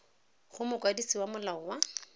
go mokwadise wa molao wa